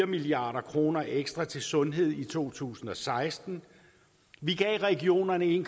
milliard kroner ekstra til sundhed i to tusind og seksten vi gav regionerne en